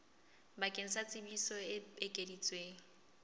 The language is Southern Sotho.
bakeng sa tsebiso e ekeditsweng